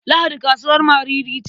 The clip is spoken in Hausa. Lahadi kasuwar Mariri ce.